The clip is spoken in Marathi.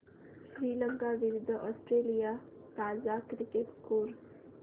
श्रीलंका विरूद्ध ऑस्ट्रेलिया ताजा क्रिकेट स्कोर